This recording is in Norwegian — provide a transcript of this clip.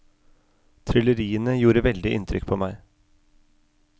Trylleriene gjorde veldig inntrykk på meg.